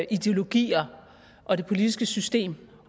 ideologier og det politiske system